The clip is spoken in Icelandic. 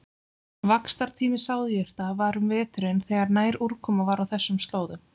Vaxtartími sáðjurta var um veturinn þegar næg úrkoma var á þessum slóðum.